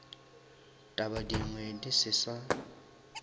taba dingwe di se sa